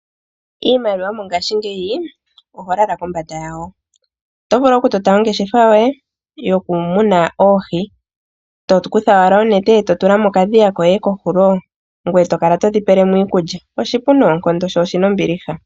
Iimaliwa ngaashingeyi oho lala kombanda yawo. Otovulu okutota ongeshefa yoye yokumuna oohi , tokutha oonete eto tula mokadhiya koye kohulo, ngoye tokala todhi pelemo iikulya. Oshipu noonkondo , sho oshina ombiliha.